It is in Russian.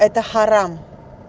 это харам